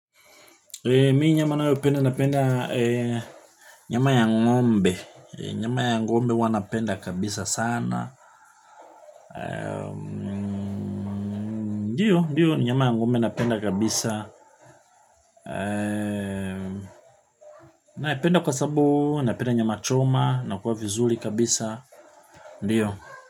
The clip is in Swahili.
Mi nyama nayopenda napenda nyama ya ng'ombe, nyama ya ng'ombe huwa napenda kabisa sana. Ndiyo, nyama ya ng'ombe napenda kabisa. Napenda kwa sababu, napenda nyama choma, nakuwa vizuri kabisa. Ndiyo.